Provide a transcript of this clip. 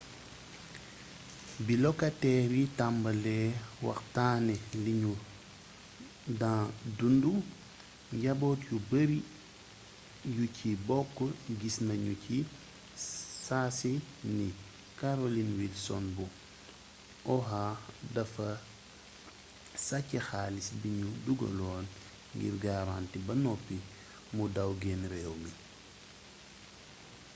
bi lokateer yi tambalee waxtaanee liñu daa dundu njaboot yu bari yu ci bokk gis nañu ci saasi ni carolyn wilson bu oha dafa sàcc xaalis biñu dugaloon ngir garanti ba noppi mu daw genn réew mi